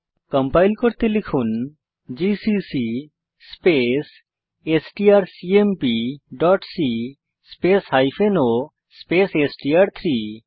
compile করতে লিখুন GCC space strcmpসি স্পেস o স্পেস এসটিআর3